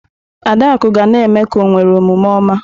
Adaku ga na-eme ka o nwere omume oma.